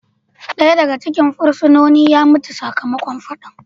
Daya daga cikin fursunonin ya mutu sakamakon fadan.